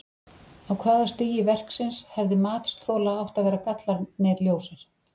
Á hvaða stigi verksins hefði matsþola átt að vera gallarnir ljósir?